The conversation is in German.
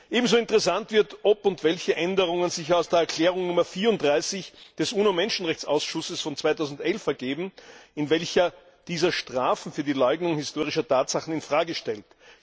Ebenso interessant wird, ob und welche Änderungen sich aus der Erklärung Nummer 34 des Uno Menschenrechtsausschusses von 2011 ergeben, in welcher dieser Strafen für die Leugnung historischer Tatsachen in Frage stellt.